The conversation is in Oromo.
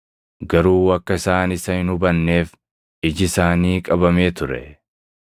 Garuu akka isaan isa hin hubanneef iji isaanii qabamee ture.